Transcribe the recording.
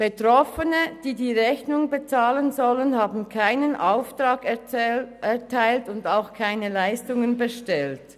Betroffene, die die Rechnung bezahlen sollen, haben keinen Auftrag erteilt und auch keine Leistungen bestellt.